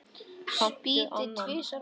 Spýti tvisvar á gólfið.